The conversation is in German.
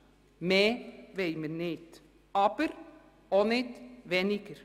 Mehr wollen wir nicht – aber auch nicht weniger!